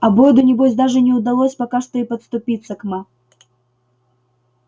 а бойду небось даже не удалось пока что и подступиться к ма